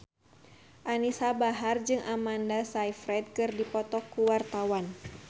Anisa Bahar jeung Amanda Sayfried keur dipoto ku wartawan